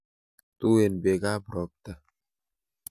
Tuen beekab ropta.